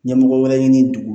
Ɲɛmɔgɔ wɛrɛ ɲini dugu